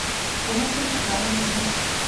Komaj sem čakala, da pride.